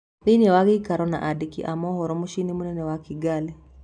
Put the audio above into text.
Thĩ ini wa gĩ ikaro na andĩ ki a mohoro muciĩ inĩ mũnene wa Kĩ gari